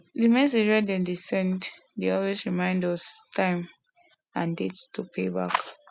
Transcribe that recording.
the message wey dem dey send dey always reminds us the time and date to pay back